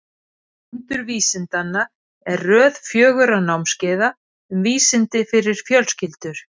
Undur vísindanna er röð fjögurra námskeiða um vísindi fyrir fjölskyldur.